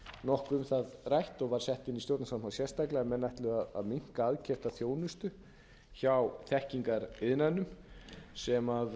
um það rætt og var sett inn í stjórnarskrána sérstaklega að menn ætluðu að minnka aðkeypta þjónustu hjá þekkingariðnaðinum sem